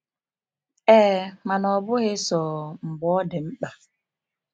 Ee, mana ọbụghị sọọ mgbe ọ dị mkpa.